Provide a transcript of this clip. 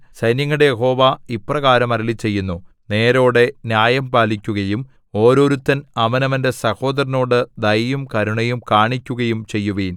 സൈന്യങ്ങളുടെ യഹോവ ഇപ്രകാരം അരുളിച്ചെയ്യുന്നു നേരോടെ ന്യായം പാലിക്കുകയും ഓരോരുത്തൻ അവനവന്റെ സഹോദരനോട് ദയയും കരുണയും കാണിക്കുകയും ചെയ്യുവിൻ